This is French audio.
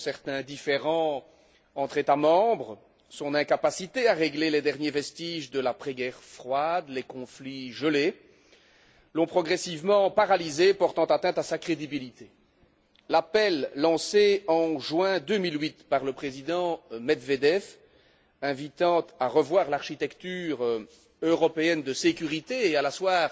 Certains différends entre États membres, son incapacité à régler les derniers vestiges de l'après guerre froide, les conflits gelés, l'ont progressivement paralysée, portant atteinte à sa crédibilité. L'appel lancé en juin 2008 par le président Medvedev invitant à revoir l'architecture européenne de sécurité et à l'asseoir